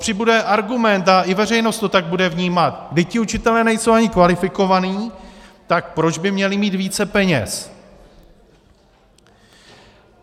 Přibude argument a i veřejnost to tak bude vnímat: Vždyť ti učitelé nejsou ani kvalifikovaní, tak proč by měli mít více peněz?